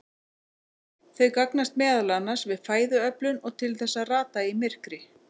Þau gagnast meðal annars við fæðuöflun og til þess að rata í myrkri.